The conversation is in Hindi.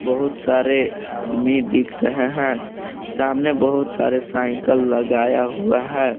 बहुत सारे आदमी दिख रहे हैं सामने बहुत सारे साइकल लगाया हुआ है।